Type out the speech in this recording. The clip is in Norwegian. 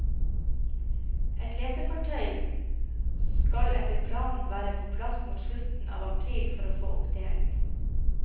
Et letefartøy skaletter planen være på plass mot slutten av april for å få opp delen.